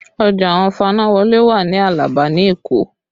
Ọjà àwọn fanáwọlé wà ní Alaba ní Èkó